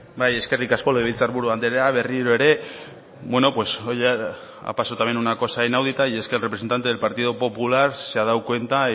eskerrik asko legebiltzar buru anderea berriro ere hoy ha pasado una cosa inaudita y es que el representante del partido popular se ha dado cuenta